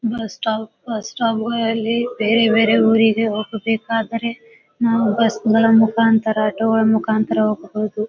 Bus stop bus stop ಗೋಯಲ್ಲಿ ಬೇರೆ ಬೇರೆ ಊರಿಗೆ ಹೋಗಬೇಕಾದರೆ ನಾವು ಬಸ್ ಗಳ ಮುಕಾಂತರ ಆಟೋ ಗಳ ಮುಕಾಂತರ ಹೋಗಬಹುದು.